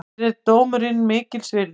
Mér er dómurinn einskis virði.